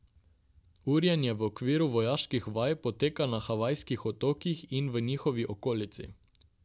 Urjenje v okviru vojaških vaj poteka na Havajskih otokih in v njihovi okolici.